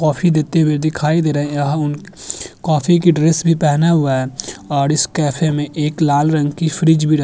Coffee देते हुए दिखाई दे रहे है। यहाँ उन कॉफ़ी की ड्रेस भी पहने हुए है और इस कॅफे में एक लाल रंग की फ्रिज रख --